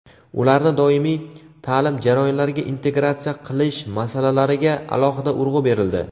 ularni doimiy taʼlim jarayonlariga integratsiya qilish masalalariga alohida urg‘u berildi.